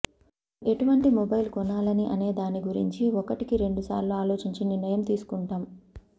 మనం ఎటువంటి మొబైల్ కొనాలని అనేదాని గురించి ఒకటికి రెండు సార్లు ఆలోచించి నిర్ణయం తీసుకుంటాం